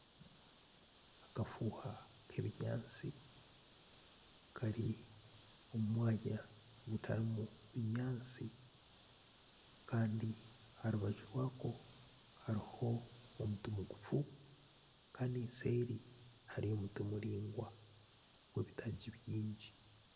Akafuuha k'ebinyatsi Kari omu mwanya gutarimu binyatsi Kandi aha rubaju rwako hariho omuti mugufu Kandi nseeri hariyo omuti muraingwa gwebitaagi bingi.